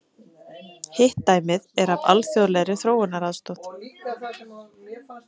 Hitt dæmið er af alþjóðlegri þróunaraðstoð.